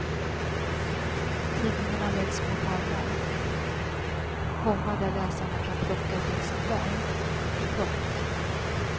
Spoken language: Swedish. Tidningarna läggs på pallar, komma där läsarna kan plocka ett exemplar. punkt